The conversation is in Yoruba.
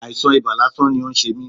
Àìsàn ibà lásán ni ó ń ṣe mí.